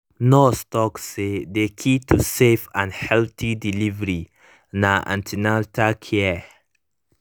nurse talk say the key to safe and healthy delivery na an ten atal care